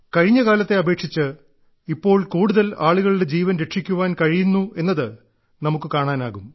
കഴിഞ്ഞ കാലത്തെ അപേക്ഷിച്ച് ഇപ്പോൾ കൂടുതൽ ആളുകളുടെ ജീവൻ രക്ഷിക്കാൻ കഴിയുന്നുവെന്നത് നമുക്ക് കാണാനാവും